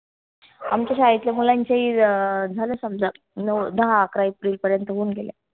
आमच्या शाळेतल्या मुलांच्याही अं झालं समजा नऊ दहा अकरा एक एप्रिल पर्यंत होऊन जाईल.